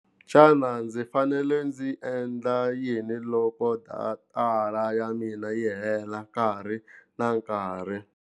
Xana ndzi fanele ndzi endla yini loko datara ya mina yi hela nkarhi na nkarhi.